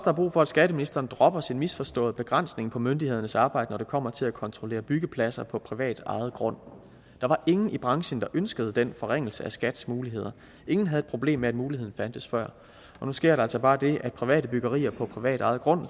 er brug for at skatteministeren dropper sin misforståede begrænsning af myndighedernes arbejde når det kommer til at kontrollere byggepladser på privatejet grund der var ingen i branchen der ønskede den forringelse af skats muligheder ingen havde et problem med at muligheden fandtes før nu sker der altså bare det at for private byggerier på privatejet grund